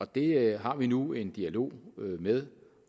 det har vi nu en dialog med